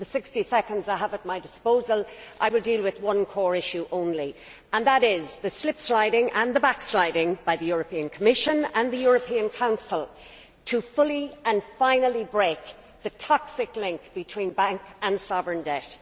In the 60 seconds I have at my disposal I will deal with one core issue only and that is the slipsliding and the backsliding by the Commission and the European Council to fully and finally break the toxic link between bank and sovereign debt.